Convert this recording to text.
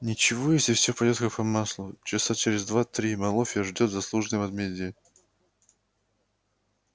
ничего если всё пойдёт как по маслу часа через два-три малофья ждёт заслуженное возмездие